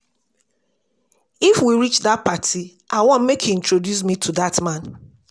If we reach dat party I wan make you introduce me to dat man